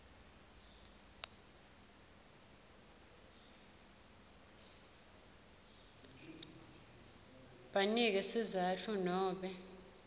banike sizatfu nobe